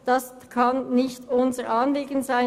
Das kann nicht unser Anliegen sein.